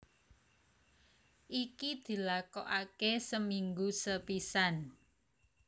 Iki dilakokake seminggu sepisan